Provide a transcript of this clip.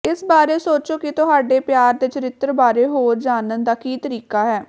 ਇਸ ਬਾਰੇ ਸੋਚੋ ਕਿ ਤੁਹਾਡੇ ਪਿਆਰ ਦੇ ਚਰਿੱਤਰ ਬਾਰੇ ਹੋਰ ਜਾਣਨ ਦਾ ਕੀ ਤਰੀਕਾ ਹੈ